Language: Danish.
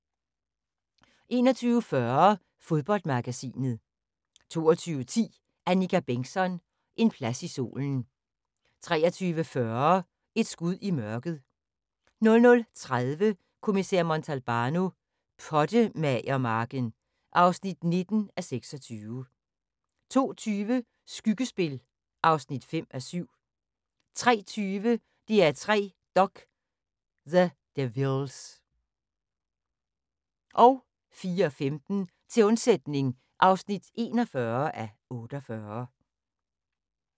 21:40: Fodboldmagasinet 22:10: Annika Bengtzon: En plads i solen 23:40: Et skud i mørket 00:30: Kommissær Montalbano: Pottemagermarken (19:26) 02:20: Skyggespil (5:7) 03:20: DR3 Dok: The Devilles 04:15: Til undsætning (41:48)